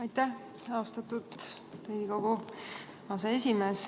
Aitäh, austatud Riigikogu aseesimees!